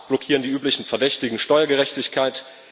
Im Rat blockieren die üblichen Verdächtigen Steuergerechtigkeit.